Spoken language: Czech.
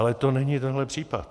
Ale to není tenhle případ.